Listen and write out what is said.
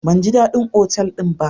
Ban ji dadin otal din ba.